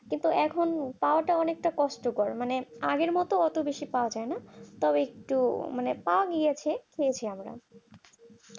কিন্তু এখন পাওয়াটা অনেকটা কষ্টকর মানে আগের মত অত বেশি পাওয়া যায় না তো একটু মানে কমই আছে পেয়েছি আমরা